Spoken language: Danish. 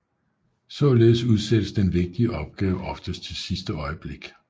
Således udsættes den vigtige opgave oftest til sidste øjeblik